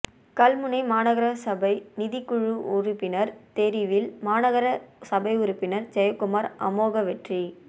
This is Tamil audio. கல்முனை மாநகர சபை நிதி குழு உறுப்பினர் தெரிவில் மாநகர சபை உறுப்பினர் ஜெயக்குமார் அமோக வெற்றி